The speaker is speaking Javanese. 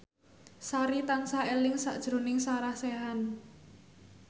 Sari tansah eling sakjroning Sarah Sechan